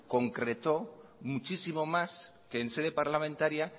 concretó muchísimo más que en sede parlamentaria